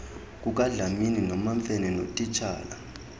kukadlamini nomamfene notitshala